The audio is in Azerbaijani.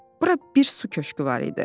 Bura bir su köşkü var idi.